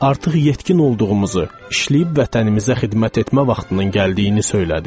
Artıq yetkin olduğumuzu, işləyib vətənimizə xidmət etmə vaxtının gəldiyini söylədi.